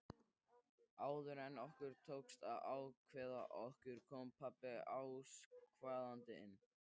Áður en okkur tókst að ákveða okkur kom pabbi askvaðandi.